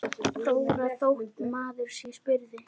Þóra: Þótt maður sé spurður?